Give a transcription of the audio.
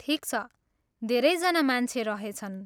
ठिक छ, धेरै जना मान्छे रहेछन्।